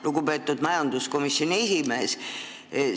Lugupeetud majanduskomisjoni esimees!